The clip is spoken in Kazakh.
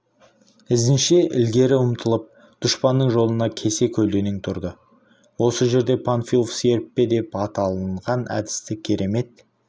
ізінше ілгері ұмтылып дұшпанның жолына кесе көлденең тұрды осы жерде панфилов серіппе деп аталынған әдісті керемет